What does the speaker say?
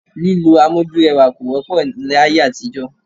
Lílo amójúrẹwà kò wọ́pọ̀ láyé àtijọ́